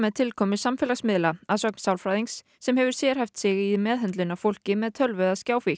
tilkomu samfélagsmiðla að sögn sálfræðings sem hefur sérhæft sig í meðhöndlun á fólki með tölvu eða